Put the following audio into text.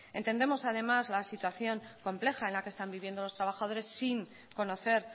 entendemos además la situación compleja en la que están viviendo los trabajadores sin conocer